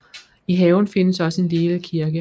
I haven findes også en lille kirke